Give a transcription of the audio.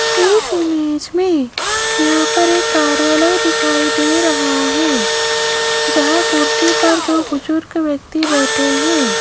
इस इमेज में यहां पर एक कार्यालय दिखाई दे रहा है जहां कुर्सी पर दो बुजुर्ग व्यक्ति बैठे हैं।